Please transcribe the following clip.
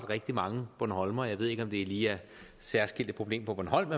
rigtig mange bornholmere jeg ved ikke om det lige er et særskilt problem på bornholm